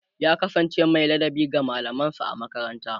ya kasance Mai ladabi ga mallaman sa a makaranta